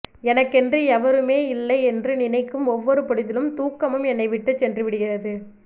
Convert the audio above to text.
எனக்கென்று எவருமேயில்லை என்று நினைக்கும் ஒவ்வொரு பொழுதிலும் தூக்கமும் என்னை விட்டுச் சென்றுவிடுகிறது